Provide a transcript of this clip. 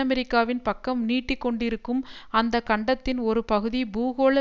அமெரிக்காவின் பக்கம் நீட்டி கொண்டிருக்கும் அந்த கண்டத்தின் ஒரு பகுதி பூகோள